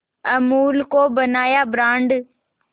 अमूल को बनाया ब्रांड